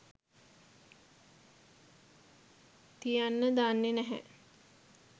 තියන්න දන්නෙ නැහැ.